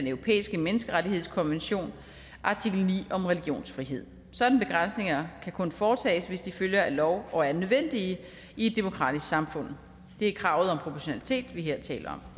europæiske menneskerettighedskonvention artikel ni om religionsfrihed sådanne begrænsninger kan kun foretages hvis de følger af lov og er nødvendige i et demokratisk samfund det er kravet om proportionalitet vi her taler